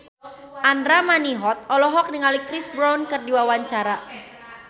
Andra Manihot olohok ningali Chris Brown keur diwawancara